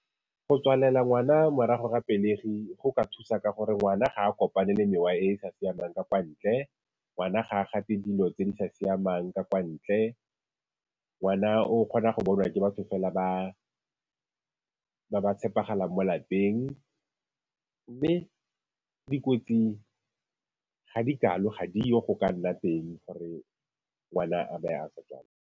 Go tswalela ngwana morago ga pelegi, go ka thusa ka gore ngwana ga a kopane le mewa e e sa siamang ka kwa ntle, ngwana ga a gate dilo tse di sa siamang ka kwa ntle. Ngwana o kgona go bonwa ke batho fela ba ba tshepegalang mo lapeng, mme dikotsi ga di kalo, ga di yo go ka nna teng gore ngwana a be a sa .